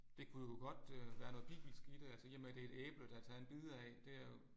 Det kunne jo godt øh være noget bibelsk i det altså i og med det et æble der er taget en bid af det er jo